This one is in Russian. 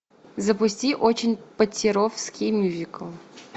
запусти очень поттеровский мюзикл